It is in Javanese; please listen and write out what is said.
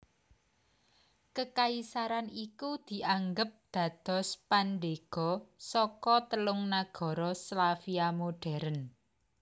Kekaisaran iku dianggep dados pandhéga saka telung nagara Slavia modhèrn